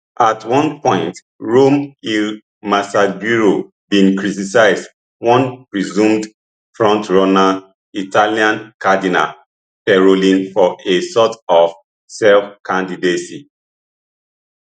at one point rome il messaggero bin criticize one presumed frontrunner italian cardinal parolin for a sort of selfcandidacy